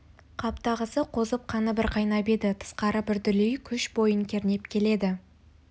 қаптағысы қозып қаны бір қайнап еді тысқары бір дүлей күш бойын кернеп келеді